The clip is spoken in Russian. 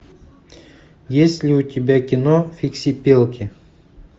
есть ли у тебя кино фиксипелки